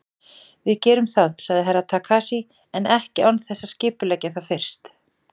Við gerum það, sagði Herra Takashi, en ekki án þess að skipuleggja það fyrst.